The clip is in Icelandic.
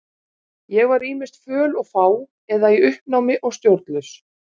Ég var ýmist föl og fá eða í uppnámi og stjórnlaus.